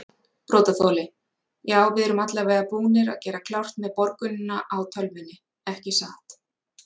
Brotaþoli: Já við erum allavega búnir að gera klárt með borgunina á tölvunni ekki satt?